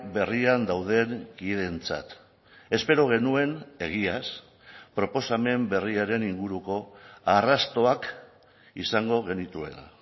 berrian dauden kideentzat espero genuen egiaz proposamen berriaren inguruko arrastoak izango genituela